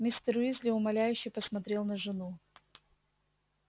мистер уизли умоляюще посмотрел на жену